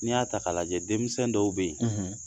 N'i y'a ta k'a lajɛ denmisɛnnin dɔw bɛ yen